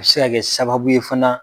U bɛ se ka kɛ sababu ye fana